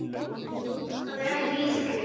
Það er ekki lítil gjöf.